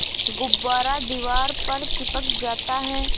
गुब्बारा दीवार पर चिपक जाता है